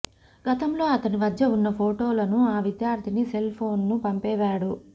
గతంలో అతని వద్ద ఉన్న ఫోటోలను ఆ విధ్యార్థిని సెల్ ఫోన్ ను పంపేవాడు